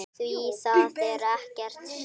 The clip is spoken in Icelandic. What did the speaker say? Því það er ekkert stríð.